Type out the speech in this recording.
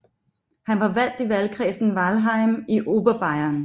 Han var valgt i valgkredsen Weilheim i Oberbayern